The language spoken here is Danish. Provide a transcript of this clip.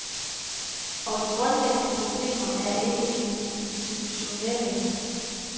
Og de grundlæggende problemer er ikke institutionelle.